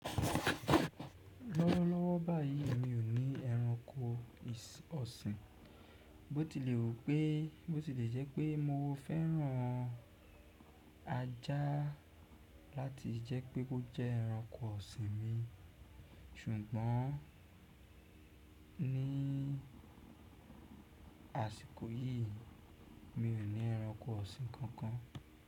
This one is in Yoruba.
Lọ́wọ́lọ́wọ́ báyìí mi ò ní ẹranko ọ̀sìn. Bó ti lè wù pé, bó ti lè jẹ́ pé mo fẹ́ran ajá láti jẹ́ pé ó jẹ́ ẹranko ọ̀sìn mi, ṣùgbọ́n ní àsìkò yìí mi ò ní ẹranko ọ̀sìn kankan.